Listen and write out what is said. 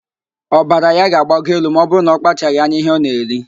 Ọbara ya ga-agbago elu ma ọbụrụ na ọkpachaghị anya ihe ọ na-eri